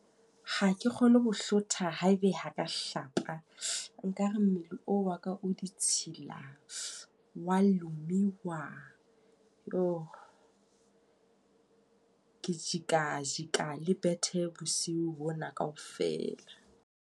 Ha ke kgone ho bohlotha haebe ha ka hlapa. Nkare mmele o wa ka o ditshila, wa lumiwa. Yo! Ke jeka jeka le bethe bosiu bona kaofela.